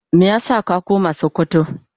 Meya sa ka koma sokoto.?